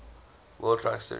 world truck series